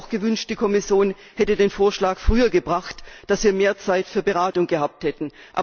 Ich hätte mir auch gewünscht, die Kommission hätte den Vorschlag früher gebracht, sodass wir mehr Zeit für Beratung gehabt hätten.